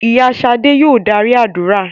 Ìyá Ṣadé yòò darí àdúrà.